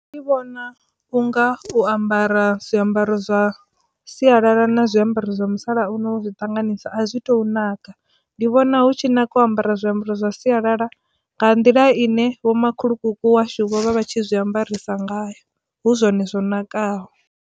Ndi vhona unga u ambara zwiambaro zwa sialala na zwiambaro zwa musalauno zwi ṱanganisa a zwi tu naka ndi vhona hu tshi naka ambara zwiambaro zwa sialala nga nḓila ine vho makhulukuku washu vhovha vha tshi zwi ambarisa ngayo hu zwone zwo nakaho.